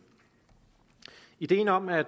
ideen om at